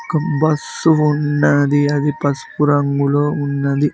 Bus ఉన్నాది అది పస్పు రంగులో ఉన్నది.